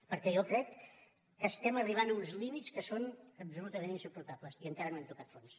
perquè jo crec que estem arribant a uns límits que són absolutament insuportables i encara no hem tocat fons